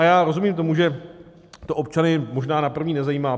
A já rozumím tomu, že to občany možná na první nezajímá.